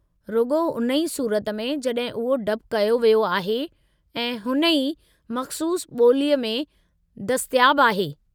रुॻो हुन ई सूरत में जॾहिं उहो डब कयो वियो आहे ऐं हुन ई मख़्सूसु ॿोलीअ में दस्तियाबु आहे।